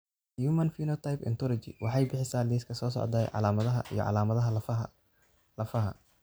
The Human Phenotype Ontology waxay bixisaa liiska soo socda ee calaamadaha iyo calaamadaha lafaha lafaha.